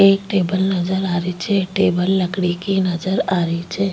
एक टेबल नजर आ री छे टेबल लकड़ी की नजर आ री छे।